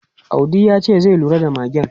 Audi ya ce zai lura da magen.